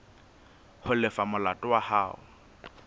ho lefa molato wa hao